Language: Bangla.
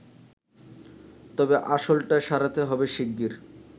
তবে আসলটা সারাতে হবে শিগগির